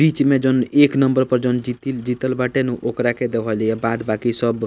बीच में जहन एक नंबर पर जोन जीतील जीतल बाटे नु ओकरा के देवल हिया बाद बाकी सब --